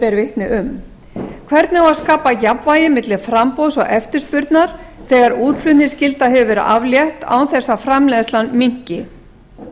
ber vitni um hvernig á að skapa jafnvægi milli framboðs og eftirspurnar þegar útflutningsskyldu hefur verið aflétt án þess að framleiðslan minnki og